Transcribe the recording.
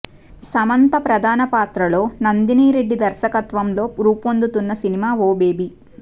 సమంత ప్రధాన పాత్రలో నందిని రెడ్డి దర్శకత్వంలో రూపొందుతున్న సినిమా ఓ బేబీ